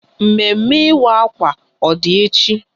Mme mme ịwa akwa ọ dị echi?